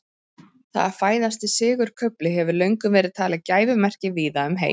það að fæðast í sigurkufli hefur löngum verið talið gæfumerki víða um heim